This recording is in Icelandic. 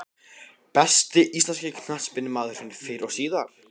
Besti íslenski knattspyrnumaðurinn fyrr og síðar?